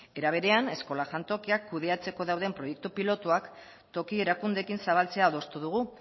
era berean eskola jantokiak kudeatzeko dauden proiektu pilotuak toki erakundeekin zabaltzea adostu dugu